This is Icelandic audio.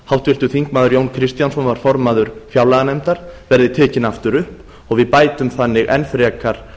háttvirtur þingmaður jón kristjánsson var formaður fjárlaganefndar verði tekin aftur upp og við bætum þannig enn frekar